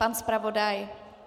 Pan zpravodaj .